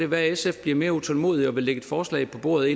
være at sf bliver mere utålmodige og forinden vil lægge et forslag på bordet